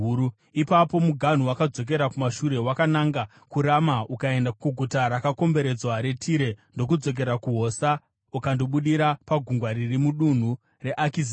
Ipapo muganhu wakadzokera kumashure wakananga kuRama ukaenda kuguta rakakomberedzwa reTire, ndokudzokera kuHosa ukandobudira pagungwa riri mudunhu reAkizibhi,